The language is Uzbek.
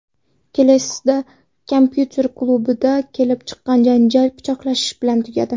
Kelesda kompyuter klubida kelib chiqqan janjal pichoqlashish bilan tugadi.